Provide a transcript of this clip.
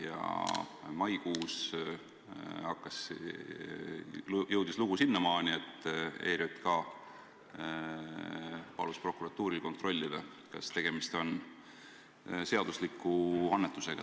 Ja maikuus jõudis lugu sinnamaani, et ERJK palus prokuratuuril kontrollida, kas tegemist on seadusliku annetusega.